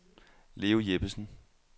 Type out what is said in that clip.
Leo Jeppesen